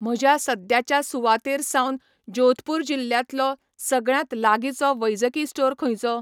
म्हज्या सद्याच्या सुवातेर सावन जोधपूर जिल्ल्यातलो सगळ्यांत लागींचो वैजकी स्टोर खंयचो?